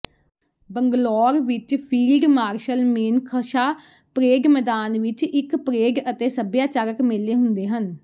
ਬੰਗਲੌਰ ਵਿਚ field marshal Manekshaw parade ਮੈਦਾਨ ਵਿਚ ਇਕ ਪਰੇਡ ਅਤੇ ਸੱਭਿਆਚਾਰਕ ਮੇਲੇ ਹੁੰਦੇ ਹਨ